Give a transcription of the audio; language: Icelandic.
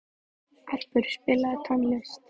Erpur, spilaðu tónlist.